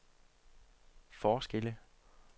forskelle